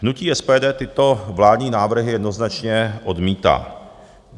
Hnutí SPD tyto vládní návrhy jednoznačně odmítá.